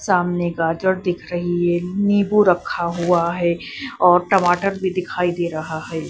सामने गाजर दिख रही है नींबू रखा हुआ है और टमाटर भी दिखाई दे रहा है।